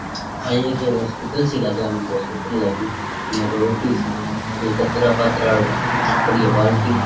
आ ये कोई हॉसपिटल सो लागे मने हॉस्पिटल लागी या कोई ऑफ़िस है और यह कचड़ा पडेटराडु पड़ी ये बाल्टी --